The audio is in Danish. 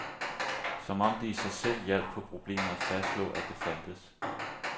Som om det i sig selv hjalp på problemet at fastslå, at det fandtes.